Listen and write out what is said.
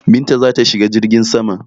Binta za ta shiga jirgin saman.